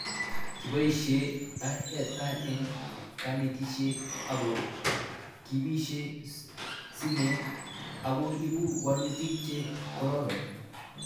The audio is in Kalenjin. Kipoishe IRI eng kanetishet ako kipishe simet ako ipu walutik che kororon